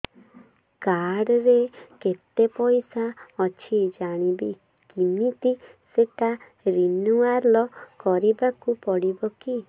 card ରେ କେତେ ପଇସା ଅଛି ଜାଣିବି କିମିତି ସେଟା ରିନୁଆଲ କରିବାକୁ ପଡ଼ିବ କି